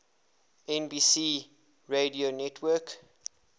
nbc radio network